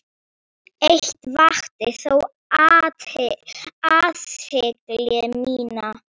Eitt vakti þó athygli mína.